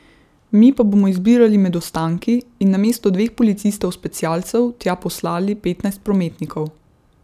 Mi pa bomo izbirali med ostanki in namesto dveh policistov specialcev, tja poslali petnajst prometnikov.